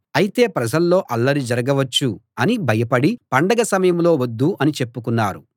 అయితే ప్రజల్లో అల్లరి జరగవచ్చు అని భయపడి పండగ సమయంలో వద్దు అని చెప్పుకున్నారు